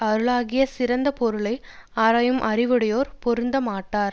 அருளாகிய சிறந்த பொருளை ஆராயும் அறிவுடையோர் பொருந்த மாட்டார்